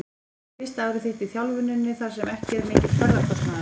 Þetta er fyrsta árið þitt í þjálfuninni þar sem ekki er mikill ferðakostnaður?